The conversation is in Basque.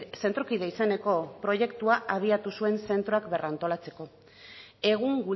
zentrokide izeneko proiektuak abiatu zuen zentroak berrantolatzeko egun